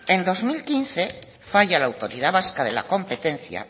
en dos mil quince falla la autoridad vasca de la competencia